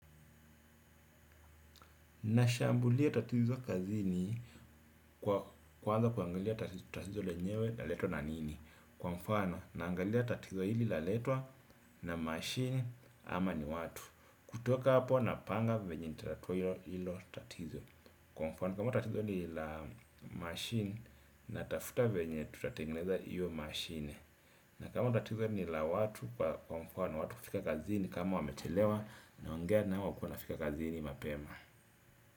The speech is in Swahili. Nashambulia tatizo kazini kwa kwanza kuangalia tatizo lenyewe laletwa na nini. Kwa mfano naangalia tatizo hili laletwa na mashine ama ni watu. Kutoka hapo napanga venye nitatatua hilo tatizo. Kwa mfano kama tatizo ni la mashini na tafuta venye tutatengeneza hiyo mashine. Na kama tatizo ni la watu kwa mfano watu kufika kazini kama wamechelewa naongea nao wakue wanafika kazini mapema.